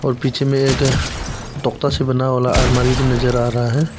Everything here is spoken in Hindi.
पीछे में एक से बना वाला अलमारी भी नजर आ रहा है।